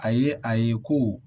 A ye a ye ko